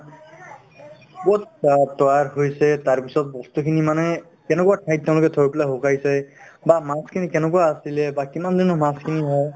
ক'ত বা তৈয়াৰ কৰিছে তাৰপিছত বস্তুখিনি মানে কেনেকুৱা ঠাইত তেওঁলোকে থৈ পিনে শুকুৱাইছে বা মাছখিনি কেনেকুৱা আছিলে বা কিমান দিনৰ মাছখিনি হয়